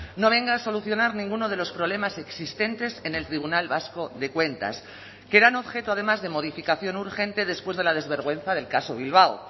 no venga a solucionar ninguno de los problemas existentes en el tribunal vasco de cuentas que eran objeto además de modificación urgente después de la desvergüenza del caso bilbao